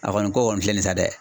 A kɔni ko kɔni filɛ nin ye sa dɛ